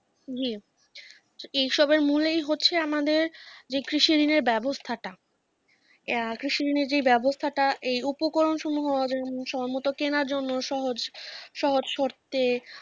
জি এসবের মূলেই হচ্ছে আমাদের যে কৃষি ঋণের ব্যবস্থাটা আহ কৃষি ঋণের যে ব্যবস্থাটা এই উপকরণ সমুহ সম্ভবত কেনার জন্য সহজ, সহজ শর্তে